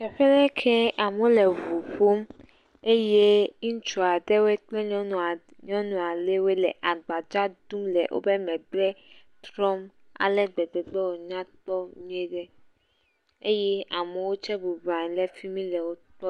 Teƒe ɖe kee amewo le ŋu ƒom eye ŋutsu aɖewoe kple nyɔnu aɖewoe le agbadza ɖum le wobe megbe trɔm ale gbegbe be wonya kpɔ nyui ɖe eye amewo tse bubu anyi ɖe fi mi le wo kpɔm.